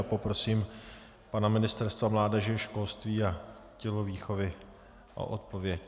A poprosím pana ministra mládeže, školství a tělovýchovy o odpověď.